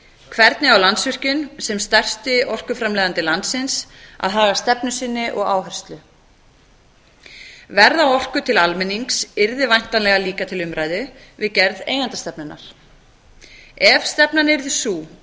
hvernig á landsvirkjun sem stærsti orkuframleiðandi landsins að haga stefnu sinni og áherslu verð á orku yrði væntanlega líka til umræðu við gerð eigendastefnunnar ef stefnan yrði sú